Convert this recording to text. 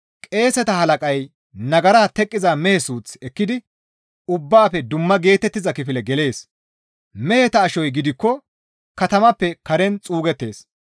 Qeeseta halaqay nagara teqqiza mehe suuth ekkidi ubbaafe dumma geetettiza kifile gelees; meheta ashoy gidikko katamappe karen xuugettees.